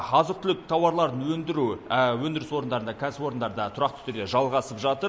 азық түлік тауарларын өндіру өндіріс орындарында кәсіпорындарда тұрақты түрде жалғасып жатыр